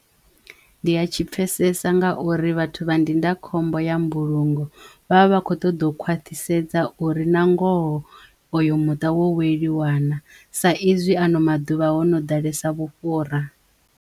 Ndi ya tshi pfesesa nga uri vhathu vha ndindakhombo ya mbulungo vha vha vha kho ṱoḓou khwaṱhisedza uri na ngoho oyo muṱa wo weliwa naa sa izwi ano maḓuvha ho no ḓalesa vhufhura.